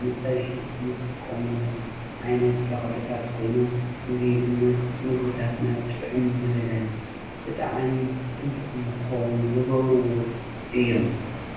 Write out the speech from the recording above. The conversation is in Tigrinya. ንፀብሒ ንጥቀመሎም ዓይነት ተኽልታት ኮይኖም፣ እዙይ ድማ ምግብታትና ጥዕም ዝበለን ብጣዕሚ ፅቡቕ ንኮኾኑ ዝገብርዎ እዩ።